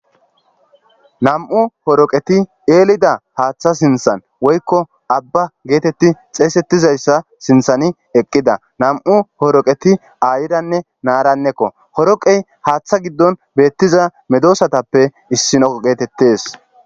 Nam'u horoqeti eelida haaththa sinthan woykko abba geetetti xeesettizayssa sinthani eqqida nam7u horoqeti ayidanne naarannekko horoqey haaththa giddon beettiza medoosatappe issino geetettes.